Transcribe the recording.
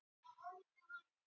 Ónefndur krakki: Já.